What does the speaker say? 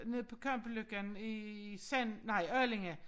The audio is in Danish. Nede på Kampeløkken i nej Allinge